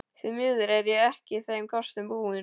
Því miður er ég ekki þeim kostum búin.